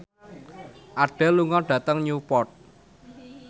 Adele lunga dhateng Newport